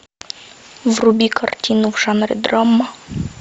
вруби картину в жанре драма